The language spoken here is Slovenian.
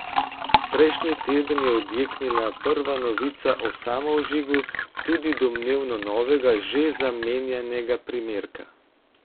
Prejšnji teden je odjeknila prva novica o samovžigu tudi domnevno novega, že zamenjanega primerka.